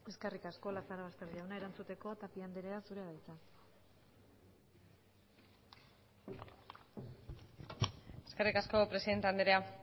eskerrik asko lazarobaster jauna erantzuteko tapia andrea zurea da hitza eskerrik asko presidente andrea